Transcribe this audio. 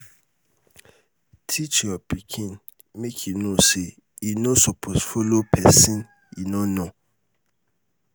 teach your pikin make e know say e no suppose follow pesin e no know